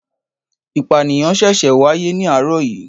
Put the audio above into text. Ìpànìyàn ṣẹ̀ṣẹ̀ wáyé ní àárọ̀ yìí.